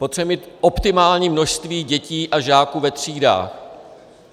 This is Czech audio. Potřebujeme mít optimální množství dětí a žáků ve třídách.